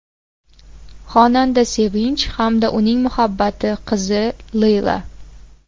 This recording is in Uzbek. Xonanda Sevinch hamda uning muhabbati qizi Leyla.